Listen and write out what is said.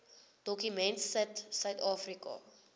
dokument sit suidafrika